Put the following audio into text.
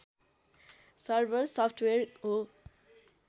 server software हो